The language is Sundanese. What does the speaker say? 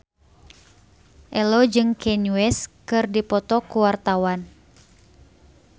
Ello jeung Kanye West keur dipoto ku wartawan